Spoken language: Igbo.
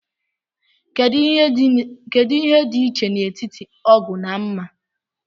Kedu ihe dị iche n'etiti ógù na mmà?